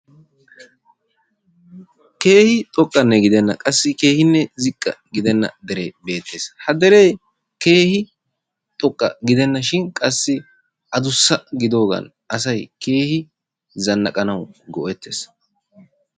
Keehi xooqqanne gidenna qassi keehinne ziiqqa gidenna deree beettees. Ha deree keehi Xooqqa gidenashin qassi aduussa gidoogan asay zannaaqanawu go"eettees.